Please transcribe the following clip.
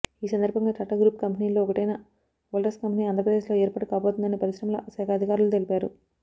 ఈ సందర్భంగా టాటా గ్రూప్ కంపెనీల్లో ఒకటైన వోల్టాస్ కంపెనీ ఆంధ్రప్రదేశ్లో ఏర్పాటు కాబోతుందని పరిశ్రమల శాఖ అధికారులు తెలిపారు